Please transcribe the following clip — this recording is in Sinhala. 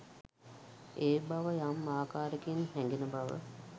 ඒ බව යම් ආකාරයකින් හැඟෙන බව